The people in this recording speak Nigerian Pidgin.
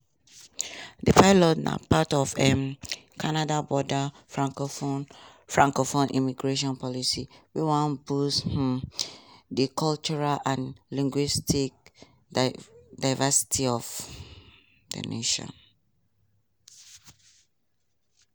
di pilot na part of um canada broader francophone francophone immigration policy wey wan boost um di cultural and linguistic diversity of di nation.